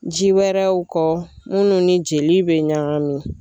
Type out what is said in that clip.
Ji wɛrɛw kɔ munnu ni jeli bɛ ɲagami.